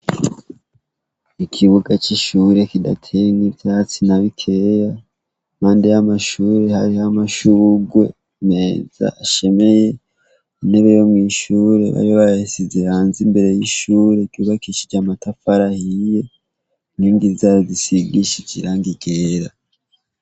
Ikibuga cishure kidateyemwo ivyatsi nabikeya impande yamashure harimwo amashurwe meza ashemeye intebe yomwishure bari bayishize hanze imbere yishure ryubakishije amatafari ahiye inkingi zisigishije irangi ryera